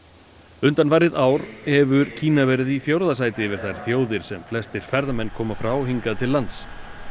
undanfarið ár hefur Kína verið í fjórða sæti yfir þær þjóðir sem flestir ferðamenn koma frá hingað til lands